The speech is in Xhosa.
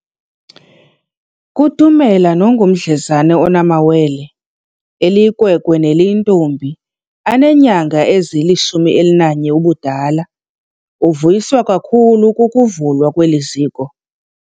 Kutumela nongumdlezana onamawele, eliyinkwenkwe neliyintombi, aneenyanga ezili-11 ubudala, uvuyiswa kakhulu kukuvu lwa kweli ziko.